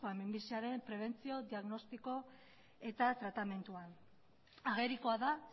minbiziaren prebentzio diagnostiko eta tratamenduan agerikoa da